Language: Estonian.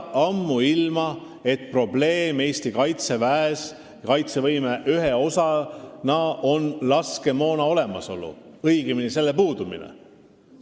Ammuilma oli teada, et Eesti Kaitseväes oli kaitsevõime ühe osana probleemiks laskemoona olemasolu, õigemini selle puudumine.